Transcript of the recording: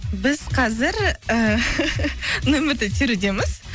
біз қазір нөмірді терудеміз